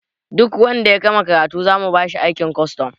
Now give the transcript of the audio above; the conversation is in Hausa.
Duk wanda ya gama karatu zamu bashi aikin kwastom